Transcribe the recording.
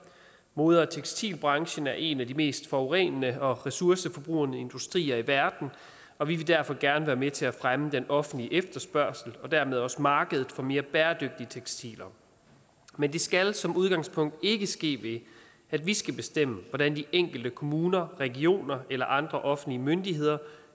mode og tekstilbranchen er en af de mest forurenende og ressourceforbrugende industrier i verden og vi vil derfor gerne være med til at fremme den offentlige efterspørgsel og dermed også markedet for mere bæredygtige tekstiler men det skal som udgangspunkt ikke ske ved at vi skal bestemme hvordan de enkelte kommuner regioner eller andre offentlige myndigheder